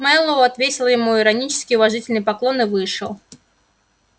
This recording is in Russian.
мэллоу отвесил ему иронический уважительный поклон и вышел